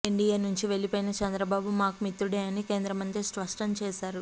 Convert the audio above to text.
NDA నుంచి వెళ్లిపోయినా చంద్రబాబు మాకు మిత్రుడే అని కేంద్రమంత్రి స్పష్టం చేశారు